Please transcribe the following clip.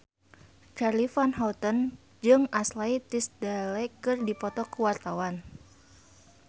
Charly Van Houten jeung Ashley Tisdale keur dipoto ku wartawan